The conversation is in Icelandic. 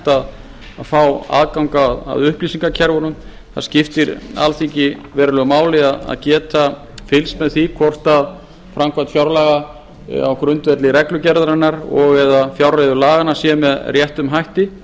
að fá aðgang að upplýsingakerfunum það skiptir alþingi verulegu máli að geta fylgst með því hvort framkvæmd fjárlaga á grundvelli reglugerðarinnar og eða fjárreiðulaganna sé með réttum hætti